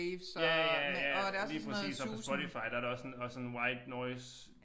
Ja ja ja lige præcis og på Spotify der der også sådan også sådan white noice